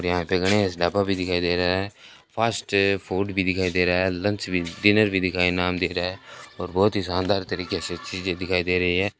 यहां पे खड़े हैं इसनैपा भी दिखाई दे रहा हैं फास्ट फूड भी दिखाई दे रहा है लंच भी डिनर भी दिखाई नाम भी दिख रहा है और बहोत ही शानदार तरीके से चीजे दिखाई दे रही है।